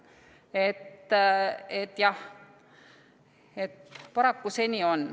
Jah, paraku see nii on.